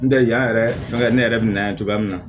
N tɛ yan yɛrɛ fɛn kɛ ne yɛrɛ bɛ na ye cogoya min na